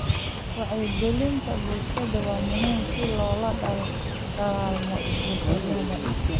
Wacyigelinta bulshada waa muhiim si loola dagaallamo isbedelada.